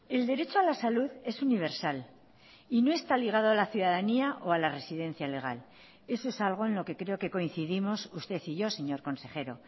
el derecho a la salud es universal y no está ligado a la ciudadanía o a la residencia legal eso es algo en lo que creo que coincidimos usted y yo señor consejero